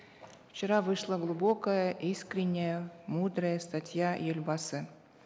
вчера вышла глубокая искренняя мудрая статья елбасы